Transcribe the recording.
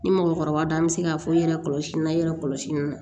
Ni mɔgɔkɔrɔba an bɛ se k'a fɔ i yɛrɛ kɔlɔsi na yɛrɛ kɔlɔsi na